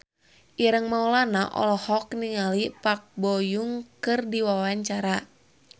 Ireng Maulana olohok ningali Park Bo Yung keur diwawancara